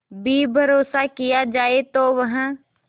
भी भरोसा किया जाए तो वह